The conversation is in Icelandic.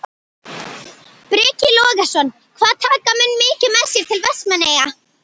Breki Logason: Hvað taka menn mikið með sér til Vestmannaeyja?